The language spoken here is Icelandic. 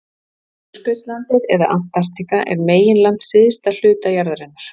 Suðurskautslandið eða Antarktíka er meginland á syðsta hluta jarðarinnar.